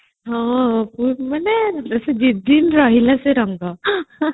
ହଁ ମାନେ ଦି ଦିନ ରହିଲା ସେ ରଙ୍ଗ